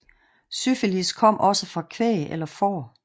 Syfilis kom også fra kvæg eller får